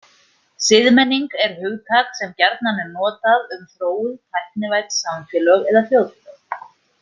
Siðmenning er hugtak sem gjarnan er notað um þróuð, tæknivædd samfélög eða þjóðfélög.